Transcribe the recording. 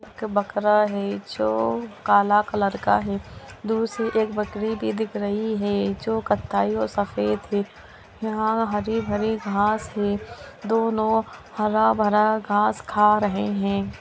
एक बकरा हैं जो काला कलर का है दूर से एक बकरी भी दिख रही हैं जो कत्थई और सफ़ेद है यहाँ हरी भरी घास हैं दोनो हरा भरा घास खा रहे है।